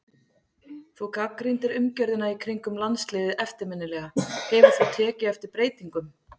Þú gagnrýndir umgjörðina í kringum landsliðið eftirminnilega, hefur þú tekið eftir breytingum?